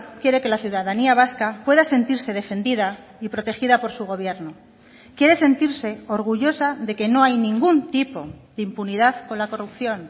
quiere que la ciudadanía vasca pueda sentirse defendida y protegida por su gobierno quiere sentirse orgullosa de que no hay ningún tipo de impunidad con la corrupción